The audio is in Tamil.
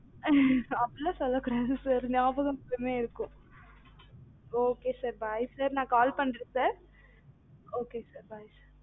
அப்படிலாம் சொல்ல கூடாது sir நியாபகம் எப்பவுமே இருக்கும் okay sir bye sir நா call பண்றன் sir okay sir